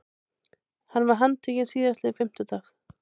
Hann var handtekinn síðastliðinn fimmtudag